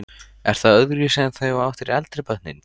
Er það öðruvísi en þegar þú áttir eldri börnin?